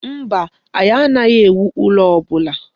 Mba, anyị anaghị ewu ụlọ ọbụla.